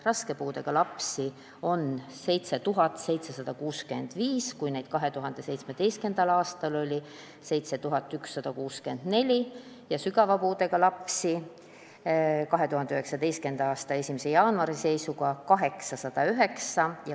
Raske puudega lapsi on praegu 7765, samas kui 2017. aastal oli neid 7164, ja sügava puudega lapsi on 2019. aasta 1. jaanuari seisuga 809.